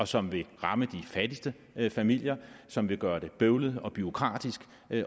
som vil ramme de fattigste familier som vil gøre det bøvlet og bureaukratisk